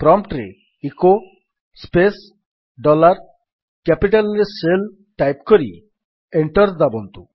prompt ରେ echo space dollar capital ରେ shell type କରି ଏଣ୍ଟର୍ ଦାବନ୍ତୁ